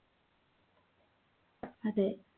അതെ